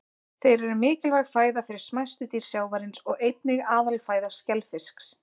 Þeir eru mikilvæg fæða fyrir smæstu dýr sjávarins og einnig aðalfæða skelfisks.